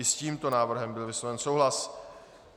I s tímto návrhem byl vysloven souhlas.